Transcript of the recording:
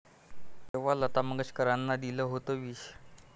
...जेव्हा लता मंगेशकरांना दिलं होतं विष